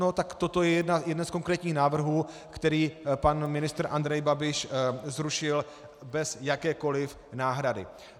No tak toto je jeden z konkrétních návrhů, který pan ministr Andrej Babiš zrušil bez jakékoliv náhrady.